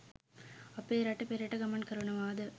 අපේ රට පෙරට ගමන් කරනවා ද